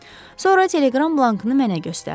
Sonra teleqram blankını mənə göstərdi.